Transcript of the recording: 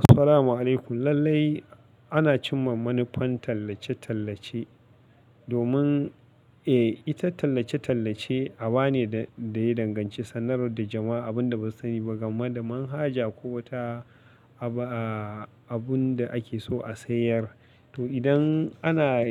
Assalamu alaykum. Lallai ana cimma manufan tallace-tallace domin eh, ita tallace-tallace aba ne da ya danganci sanar da jama'a abun da ba su sani ba game da manhaja ko wata abu da ake so a sayar. To, idan ana